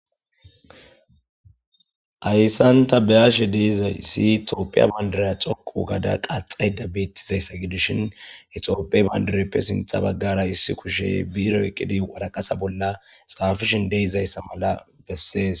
Haysan tabeyash dizaysi tophiya bandirayi dhoqu gada qaxayid betizaysa gidishin he tophiya bandirayape issi kushe birre oykidi waraqata bolla xapishe de'izaysa mala beses.